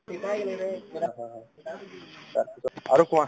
আৰু কোৱা